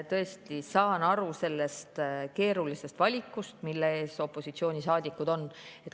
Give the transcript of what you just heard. Tõesti, saan aru sellest keerulisest valikust, mille ees opositsioonisaadikud on.